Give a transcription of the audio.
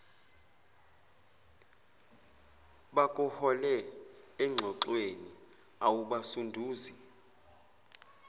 bakuhole engxoxweni awubasunduzi